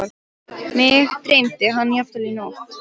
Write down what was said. Mig dreymdi hann jafnvel í nótt.